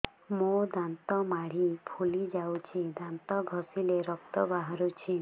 ମୋ ଦାନ୍ତ ମାଢି ଫୁଲି ଯାଉଛି ଦାନ୍ତ ଘଷିଲେ ରକ୍ତ ବାହାରୁଛି